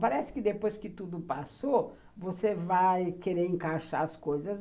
Parece que depois que tudo passou, você vai querer encaixar as coisas.